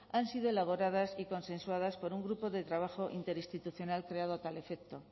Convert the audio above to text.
han sido elaboradas y consensuadas por un grupo de trabajo interinstitucional creado a tal efecto